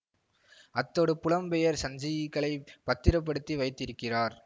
அத்தோடு புலம் பெயர் சஞ்சிகளை பத்திரப்படுத்தி வைத்திருக்கிறார்